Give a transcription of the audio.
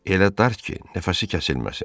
Elə dar ki, nəfəsi kəsilməsin.